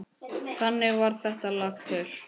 Þannig varð þetta lag til.